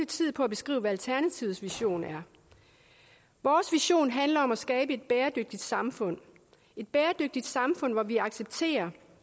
tid på at beskrive hvad alternativets vision er vores vision handler om at skabe et bæredygtigt samfund et bæredygtigt samfund hvor vi accepterer